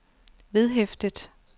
vedhæftet